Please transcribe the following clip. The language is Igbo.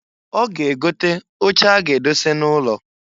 Ọ ga egote oche a ga-edose n'ụlọ.